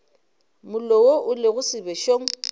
mollo wo o lego sebešong